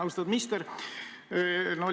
Austatud minister!